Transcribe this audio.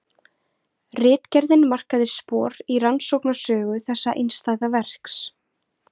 Ritgerðin markaði spor í rannsóknarsögu þessa einstæða verks.